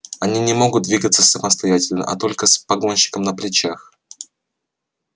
они не могут двигаться самостоятельно а только с погонщиком на плечах